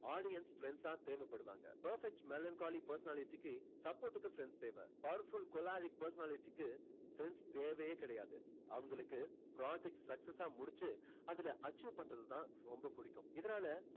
audience friends ஆ தேவைப்படுவாங்க. perfect melancholy personality க்கு support க்கு friends தேவை. powerful choleric personality க்கு friends தேவையே கிடையாது. அவங்களுக்கு project success ஆ முடிச்சு அதுல achieve பண்றது தான் ரொம்ப புடிக்கும் இதனால